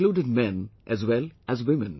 They included men as well as women